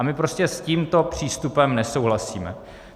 A my prostě s tímto přístupem nesouhlasíme.